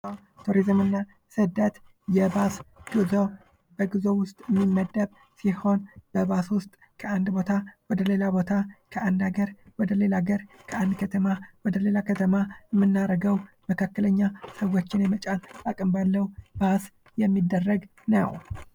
ቱሪዝም እና ስደት በባስ ወይም መካከለኛ ሰዉ መያዝ በሚችል መኪና የሚደረግ የጉዞ አይነት ነው ።